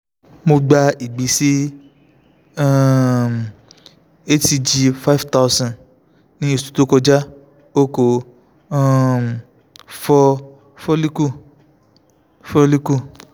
mo gba igbese um hcg five thousand ni oṣu to kọja o ko um fọ follicle follicle